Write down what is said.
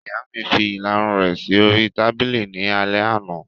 Ìyá mi fi ìlarun rẹ̀ sí oríi tábìlì ní alẹ́ àná